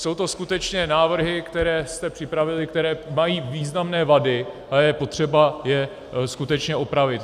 Jsou to skutečně návrhy, které jste připravili, které mají významné vady a je potřeba je skutečně opravit.